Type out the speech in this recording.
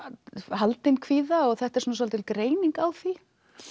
haldin kvíða og þetta er svolítið greining á því